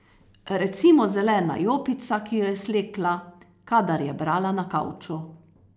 Recimo zelena jopica, ki jo je slekla, kadar je brala na kavču.